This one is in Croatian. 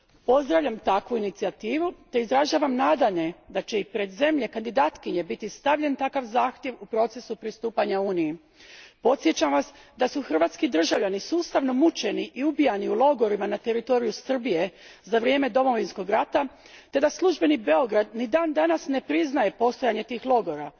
Pozdravljam takvu inicijativu te izražavam nadanje da će i pred zemlje kandidatkinje biti stavljen takav zahtjev u procesu pristupanja Uniji. Podsjećam vas da su hrvatski državljani sustavno mučeni i ubijani u logorima na teritoriju Srbije za vrijeme domovinskog rata te da službeni Beograd ni dan danas ne priznaje postojanje tih logora.